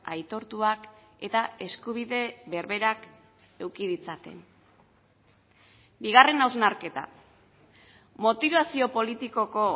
aitortuak eta eskubide berberak eduki ditzaten bigarren hausnarketa motibazio politikoko